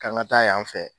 K'an ka taa yan fɛ